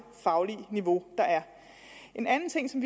faglige niveau der er en anden ting som